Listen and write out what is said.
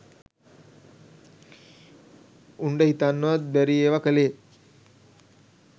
උන්ට හිතන්නවත් බැරි ඒව කලේ